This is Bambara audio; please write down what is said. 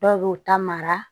Dɔw b'u ta mara